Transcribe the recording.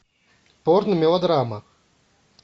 порно мелодрама